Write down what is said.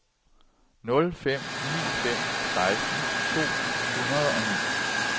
nul fem ni fem seksten to hundrede og ni